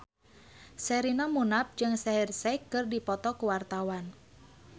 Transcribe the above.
Sherina Munaf jeung Shaheer Sheikh keur dipoto ku wartawan